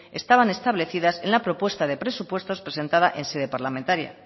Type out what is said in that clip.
estaban establecidas en la propuesta de presupuestos presentada en sede parlamentaria